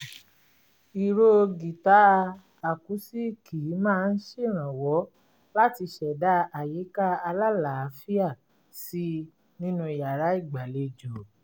ìró gìtá àkúsíìkì máa ń ṣèrànwọ́ láti ṣẹ̀dá àyíká alálàáfíà si nínú yàrá ìgbàlejò